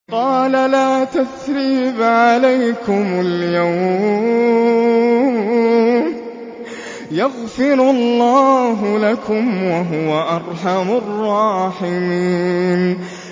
قَالَ لَا تَثْرِيبَ عَلَيْكُمُ الْيَوْمَ ۖ يَغْفِرُ اللَّهُ لَكُمْ ۖ وَهُوَ أَرْحَمُ الرَّاحِمِينَ